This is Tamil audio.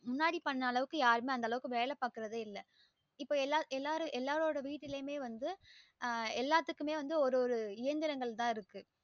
முன்னாடி பண்ண அளவுக்கு யாருமே வந்து அந்த அளவுக்கு வேல பாக்குறதே இள்ள இப்ப எல்லாருடைய வீட்டுளையுமே வந்து எல்லாத்துக்குமே வந்து ஒரு ஒரு இயந்திரங்கள் தான் இருக்கு